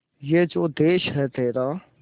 ये जो देस है तेरा